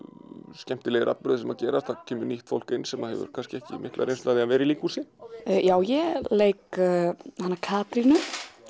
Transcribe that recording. skemmtilegir atburðir sem gerast það kemur nýtt fólk inn sem hefur kannski ekki mikla reynslu af því að vera í líkhúsi ég leik hana Katrínu